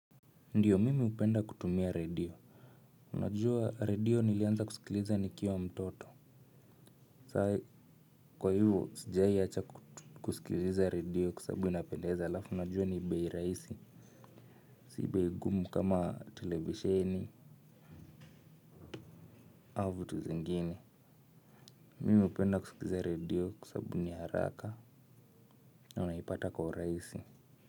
Ndiyo mimi upenda kutumia redio unajua radio nilianza kusikiliza nikiwa mtoto sai kwa hivo sijaiacha kusikiliza redio kwa sabubu inapendeza alafu unajua ni bei raisi si bei gumu kama televisheni au vitu zingine mimi upenda kusikiza redio kwasabu ni haraka na unaipata kwa uraisi.